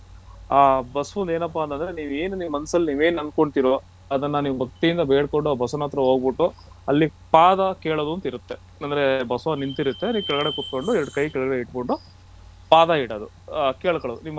ಆ ಬಸವನದು ಏನಪ್ಪಾ ಅಂದ್ರೆ ನೀವು ಮನಸ್ಸಲ್ಲಿ ನೀವು ಏನ್ ಅಂದು ಕೊಳ್ತಿರೋ ಅದುನ್ನ ಭಕ್ತಿಯಿಂದ ಬೇಡ್ಕೊಂಡು ಆ ಬಸವನತ್ರ ಹೋಗ್ಬಿಟ್ಟು ಅಲ್ಲಿ ಪಾದ ಕೇಳೋದು ಅಂತ ಇರುತ್ತೆ ಅಂದ್ರೆ ಬಸವ ನಿಂತಿರುತ್ತೆ ಅದರ ಕೆಳಗಡೆ ಕುಂತ್ಕೊಂಡು ಎರಡು ಕೈ ಕೆಳಗಡೆ ಇಟ್ ಬಿಟ್ಟು ಪಾದ ಇಡೋದು ಆ ಕೇಳ್ಕೊಳೋದು